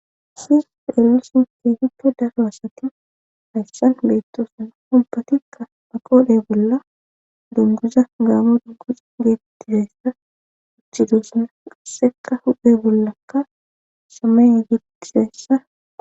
sis eelulsin teeficco daro asakin hayssan beettoosan hompatikka maqoodhe bolla dunguza gaamo dunguza geetttizayssa uchchidoosana qasseka hudhe bollakka samay gidisayssa